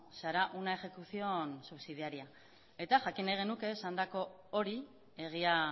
se hará una ejecución subsidiaria eta jakin nahi genuke esandako hori egia